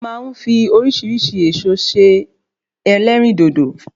A ma n fi orísirísi Ẹ̀ẹ̀so se Ẹlérìndòdò